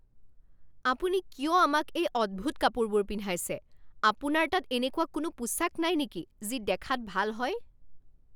আপুনি কিয় আমাক এই অদ্ভুত কাপোৰবোৰ পিন্ধাইছে? আপোনাৰ তাত এনেকুৱা কোনো পোছাক নাই নেকি যি দেখাত ভাল হয়?